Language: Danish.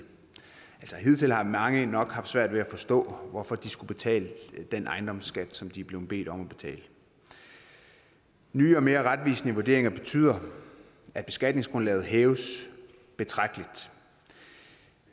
hidtil har mange nok haft svært ved at forstå hvorfor de skulle betale den ejendomsskat de er blevet bedt om at betale nye og mere retvisende vurderinger betyder at beskatningsgrundlaget hæves betragteligt